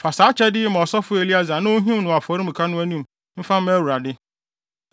Fa saa kyɛfa yi ma ɔsɔfo Eleasar na onhim no afɔremuka no anim mfa mma Awurade.